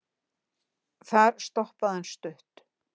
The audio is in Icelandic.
þar stoppaði hann stutt